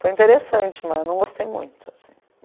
Foi interessante, mas não gostei muito assim.